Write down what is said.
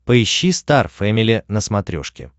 поищи стар фэмили на смотрешке